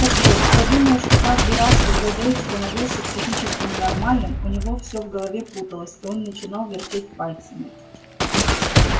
так вот я думаю что каждый раз когда дейв становился психически ненормальным у него всё в голове путалось и он начинал вертеть пальцами